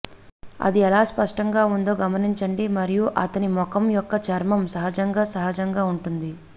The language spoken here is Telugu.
అది ఎలా స్పష్టంగా ఉందో గమనించండి మరియు అతని ముఖం యొక్క చర్మం సహజంగా సహజంగా ఉంటుంది